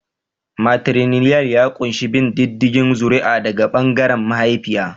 Matrilinial ya ƙunshi bin diddigin zuri'a daga ɓangaren mahaifiya.